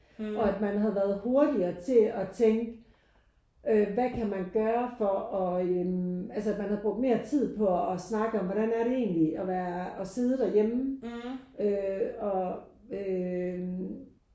Og at man havde været hurtigere til at tænke øh hvad kan man gøre for at øh altså at man havde brugt mere tid på at snakke om hvordan er det egentlig at være og sidde derhjemme øh og øh